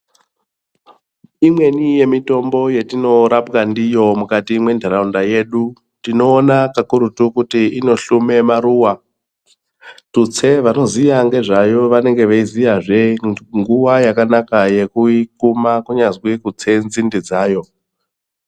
Imweni yemitombo yetinorapwa ndiyo mukati mwentharaunda yedu. Tinoona kakurutu kuti inohlume maruwa, tutse vanoziva ngezvayo vanenge veiziya zve nguwa yakanaka yekuikuma kunyazwi kutse nzinde dzayo.